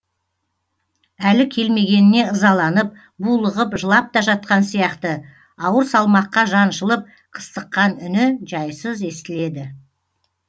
әлі келмегеніне ызаланып булығып жылап та жатқан сияқты ауыр салмаққа жаншылып қыстыққан үні жайсыз естіледі